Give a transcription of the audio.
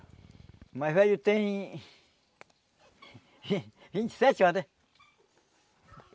O mais velho tem... vinte e sete anos, né?